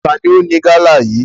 Taàní ó ní gala yí?